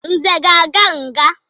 Nze ga-aga nga.